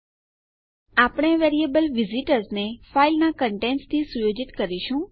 આપણે આપણું variable visitors ફાઈલના કન્ટેન્ટસથી સુયોજિત કરી રહ્યાં છીએ